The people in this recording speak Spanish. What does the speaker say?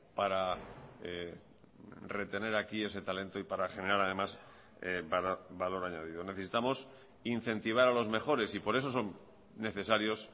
para retener aquí ese talento y para generar además valor añadido necesitamos incentivar a los mejores y por eso son necesarios